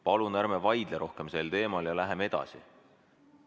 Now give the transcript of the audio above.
Palun ärme vaidleme rohkem sel teemal ja läheme edasi.